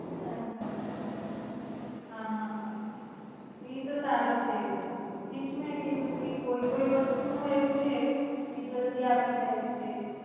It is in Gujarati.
અચ્છા હમ એ તો સરુ છે પછી એજ મેં કીધું કે કોઈ કોઈ વાસ્તુ નું એવું છે કે જલદી આવી જાય છે.